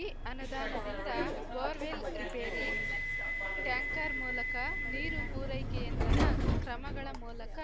ಈ ಅನುದಾನದಿಂದ bore well repair tanker ಮೂಲಕ ನೀರು ಪೂರೈಕೆಯಂತಹ ಕ್ರಮಗಳ ಮೂಲಕ